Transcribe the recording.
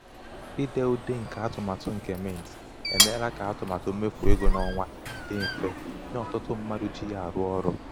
ide ude nke atụmatụ nke mint emeela ka atụmatụ mmefu ego n'ọnwa dị mfe nye ọtụtụ mmadụ ji ya arụ ọrụ.